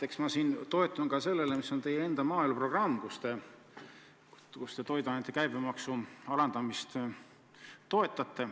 Eks ma toetun ka sellele, mis on teie enda maaeluprogrammis: te seal ju toiduainete käibemaksu alandamist pooldate.